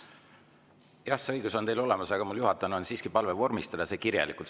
Jah, see õigus on teil olemas, aga mul juhatajana on siiski palve vormistada see kirjalikult.